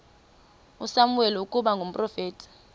usamuweli ukuba ngumprofeti